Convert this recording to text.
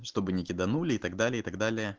чтобы не киданули и так далее и так далее